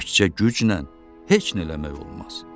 Təkcə güclə heç nə eləmək olmaz.